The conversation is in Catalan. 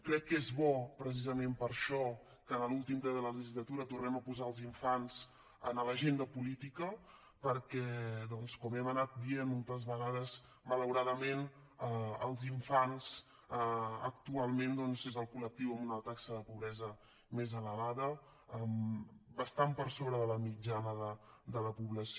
crec que és bo precisament per això que en l’últim ple de la legislatura tornem a posar els infants a l’agenda política perquè doncs com hem anat dient moltes vegades malauradament els infants actualment és el coltaxa de pobresa més elevada bastant per sobre de la mitjana de la població